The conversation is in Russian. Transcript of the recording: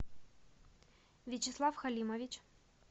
вячеслав халимович